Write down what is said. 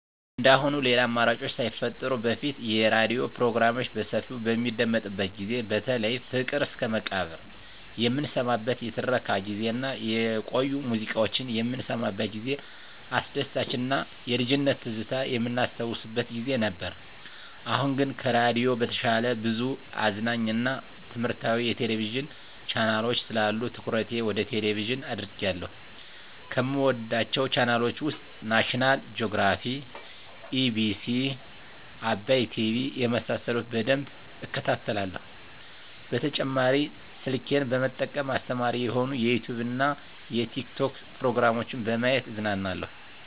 እንደአሁኑ ሌላ አማራጮች ሳይፈጠሩ በፊት የሬዲዮ ፕሮግራሞች በሰፊው በሚደመጥበት ጊዜ በተለይ ፍቅር እስከመቃብር የምንሰማበት የትረካ ጊዜ እና የቆዩ ሙዚቃዎች የምንሰማበት ጊዜ አስደሳች እና የልጅነት ትዝታ የምናስታውስበት ጊዜ ነበር። አሁን ግን ከሬዲዮ በተሻለ ብዙ አዝናኝ እና ትምህረታዊ የቴሌቪዥን ቻናሎች ስላሉ ትኩረቴ ወደ ቴሌቭዥን አድርጌአለሁ። ከምወዳቸው ቻናሎች ውስጥ ናሽናል ጆግራፊ, ኢቢኤስ, አባይ ቲቪ የመሳሰሉት በደንብ እከታተላለሁ። በተጨማሪ ስልኬን በመጠቀም አስተማሪ የሆኑ የዩቲዉብ እና የቲክቶክ ፕሮግራሞችን በማየት እዝናናለሁ።